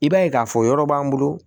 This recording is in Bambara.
I b'a ye k'a fɔ yɔrɔ b'an bolo